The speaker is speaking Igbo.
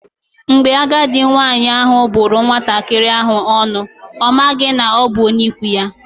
Mgbe agadi nwaanyị ahụ bụrụ nwatakịrị nwaanyị ahụ ọnụ, ọ maghị na ọ bụ onye ikwu ya.